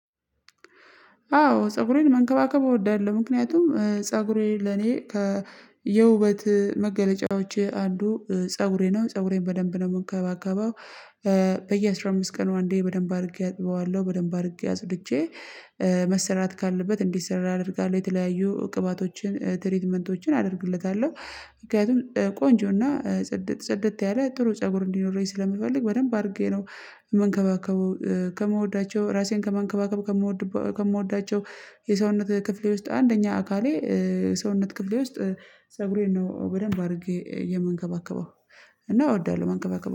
አዎ ፀጉሬን መንከባከብ እወዳለሁ። ምክንያቱም ፀጉሬ ለኔ ከ የውበት መገለጫዎቼ አንዱ ፀጉሬ ነው። ፀጉሬን በደንብ ነው የምንከባከበው። በየአስራ አምስት ቀኑ አንዴ በደንብ አድርጌ አጥበዋለሁ። በደንብ አድርጌ አጽድቼ መሰራት ካለበት እንዲሰራ አደርጋለሁ። የተለያዩ ቅባቶችን ትሪትመንቶችን አደርግለታለሁ። ምክንያቱም ቆንጆና ጽድት ጽድት ያለ ጥሩ ፀጉር እንዲኖረኝ ስለምፈልግ፤ በደንብ አድርጌ ነው ምንከባከቡ። ከምወዳቸው ራሴን ከመንከባከብ ከምወዳቸው የሰውነት ክፍሌ ውስጥ አንደኛ አካሌ ከሰውነት ክፍሌ ውስጥ ፀጉሬን ነው በደንብ አድርጌ የምንከባከበው። እና እወዳለሁ መንከባከብ